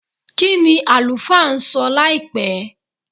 kini alufa nso láìpé